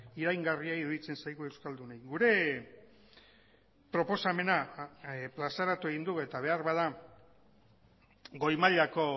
iraingarria iruditzen zaigu euskaldunei gure proposamena plazaratu egin du eta beharbada goi mailako